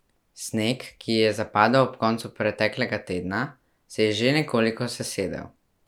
Sneg, ki je zapadel ob koncu preteklega tedna, se je že nekoliko sesedel.